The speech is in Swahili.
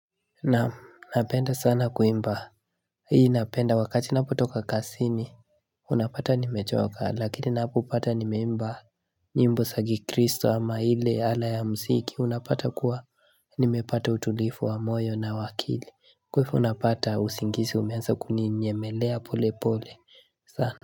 Naam napenda sana kuimba hii napenda wakati ninapotoka kazini unapata nimechoka lakini unapopata nimeimba nyimbo za kikristo ama ile ala ya muziki unapata kuwa nimepata utulivu wa moyo na wa akili kwa hivyo unapata usingizi umeanza kuninyemelea polepole sana.